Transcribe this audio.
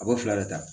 A b'o fila de ta